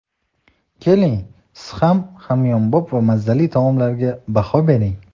Keling, siz ham hamyonbop va mazali taomlarga baho bering.